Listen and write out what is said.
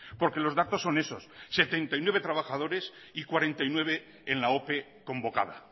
porque los datos son esos setenta y nueve trabajadores y cuarenta y nueve en la ope convocada